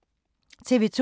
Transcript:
TV 2